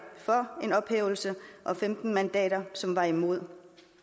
for en ophævelse og femten mandater som var imod